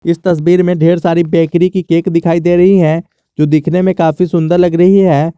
इस तस्वीर में ढेर सारी बेकरी की केक दिखाई दे रही है जो दिखने में काफी सुन्दर लग रही है।